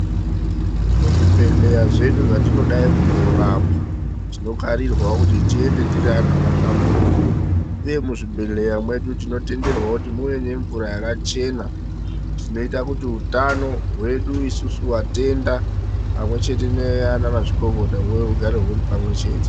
Muzvibhedhleya zvedu zvatinodayi kunorapwa tinokarirwawo kuti tiende tiri antu akahlamburuka uye muzvibhedhleya mwedu tinotenderwawo kuti muve nemvura yakachena tinoita kuti utano hwedu isusu vatenda pamwechete nanamazvikokota hugare huri pamwechete.